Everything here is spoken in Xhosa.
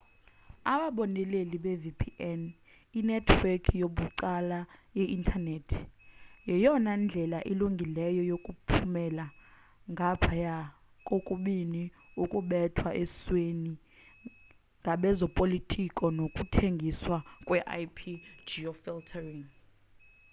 ababoneleli be-vpn inethiwekhi yabucala yeintanethi yeyona ndlela ilungileyo yokuphumela ngaphaya kokubini ukubekwa esweni ngabezopolitiko nokuthengiswa kwe-ip-geofiltering